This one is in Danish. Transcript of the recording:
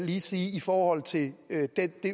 lige sige i forhold til det